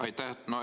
Aitäh!